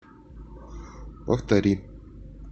повтори